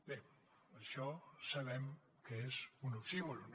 bé això sabem que és un oxímoron